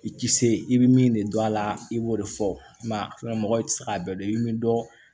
I ti se i bi min de dɔn a la i b'o de fɔ mɔgɔ ti se k'a bɛɛ dɔn i be min dɔn